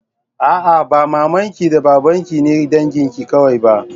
A'a, ba maman ki da baban ki ne dangin ki kawai ba.